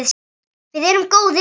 Við erum góðir vinir.